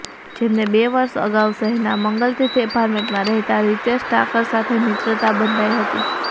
જેમને બે વર્ષ અગાઉ શહેરના મંગલતીર્થ એપાર્ટમેન્ટમાં રહેતા રિતેશ ઠાકર સાથે મિત્રતા બંધાઈ હતી